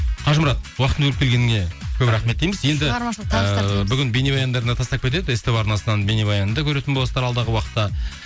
қажымұрат уақытыңды бөліп келгеніңе көп рахмет дейміз енді ыыы бүгін бейнебаяндарын да тастап кетеді ств арнасынан бейнебаянды көретін боласыздар алдағы уақытта